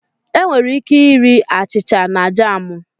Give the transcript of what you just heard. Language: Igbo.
Enwere ike iri achịcha na jamú